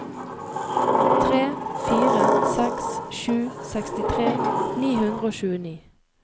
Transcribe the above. tre fire seks sju sekstitre ni hundre og tjueni